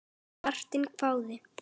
Vertinn hváði.